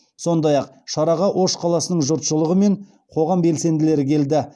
сондай ақ шараға ош қаласының жұртшылығы мен қоғам белсенділері келді